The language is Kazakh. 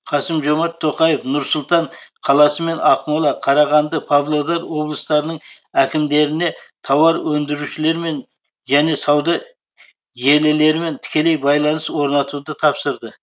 қасым жомарт тоқаев нұр сұлтан қаласы мен ақмола қарағанды павлодар облыстарының әкімдеріне тауар өндірушілермен және сауда желілерімен тікелей байланыс орнатуды тапсырды